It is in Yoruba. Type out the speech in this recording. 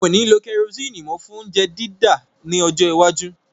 Wọn ò ní lo kerosini mó fún óuńjẹ dídá ní ọjọ́ iwájú